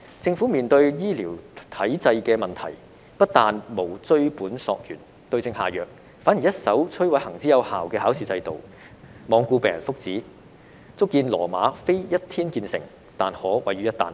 政府面對醫療體制的問題，不但沒有追本溯源，對症下藥，反而一手摧毀行之有效的考試制度，罔顧病人福祉，足見羅馬非一天建成，卻可毀於一旦。